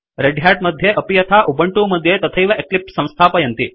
red Hat मध्ये अपि यथा उबंटू मध्ये तथैव एक्लिप्स संस्थापयन्ति